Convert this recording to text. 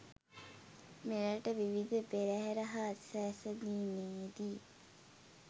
මෙරට විවිධ පෙරහර හා සැසදීමේදී